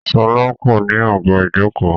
Sọlá kò ní àga ìjókòó